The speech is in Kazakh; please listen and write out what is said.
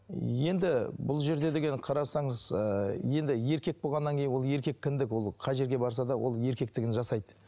енді бұл жерде деген қарасаңыз ыыы енді еркек болғаннан кейін ол еркек кіндік ол қай жерге барса да ол еркектігін жасайды